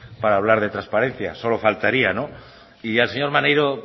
para hablar de transparencia solo faltaría no y al señor maneiro